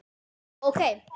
Já, ok.